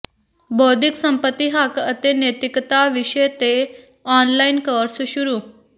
ਬੌਧਿਕ ਸੰਪਤੀ ਹੱਕ ਅਤੇ ਨੈਤਿਕਤਾ ਵਿਸ਼ੇ ਤੇ ਆਨਲਾਈਨ ਕੋਰਸ ਸ਼ੁਰੂ